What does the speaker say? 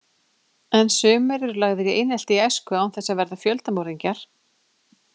En sumir eru lagðir í einelti í æsku án þess að verða fjöldamorðingjar.